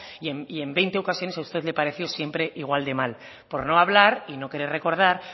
y en veinte ocasiones a usted le pareció siempre igual de mal por no hablar y no querer recordar